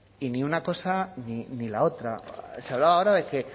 y ni una cosa ni la otra se hablaba ahora de que